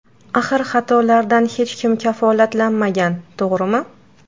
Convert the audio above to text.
Axir xatolardan hech kim kafolatlanmagan to‘g‘rimi?